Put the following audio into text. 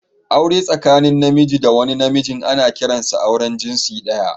Aure tsakanin Namiji da wani Namiji ana kiransa auren jinsi daya